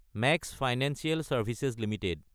max financial services Ltd